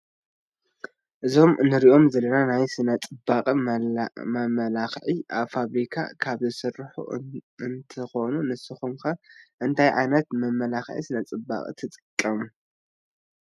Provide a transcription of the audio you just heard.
እዞም እንሪኦም ዘለና ናይ ስነ ፅባቀ መመላክዒ ኣብ ፋብሪካ ካብ ዝስርሑ እንትኾኑ ንስኹም ኸ እንታይ ዓይነት መመላኽዒ ስነ ፅባቀ ትጥቀሙ?